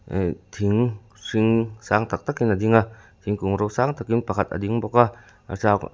eh thing hring sang tak tak in a ding a thingkung ro sang takin pakhat a ding bawk a a --